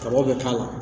Kaba bɛ k'a la